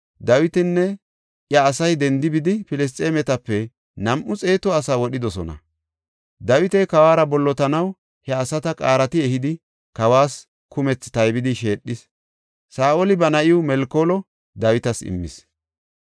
Dawitinne iya asay dendi bidi Filisxeemetape nam7u xeetu asaa wodhidosona. Dawiti kawuwara bollotanaw he asata qaarati ehidi, kawas kumethi taybidi sheedhis. Saa7oli ba na7iw Melkoolo Dawitas immis.